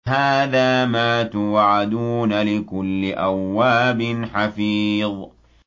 هَٰذَا مَا تُوعَدُونَ لِكُلِّ أَوَّابٍ حَفِيظٍ